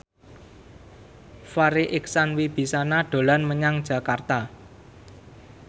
Farri Icksan Wibisana dolan menyang Jakarta